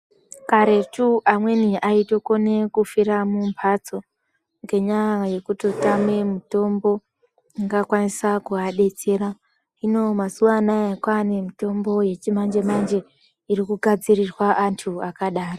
Karetu amweni aitokona kufira mumpatso ngenyaya yekutama mitombo ingakwanisa kudetsera hino Mazuva ano kwane mitombo yechimanjemanje iri kugadzieirwa antu akadai.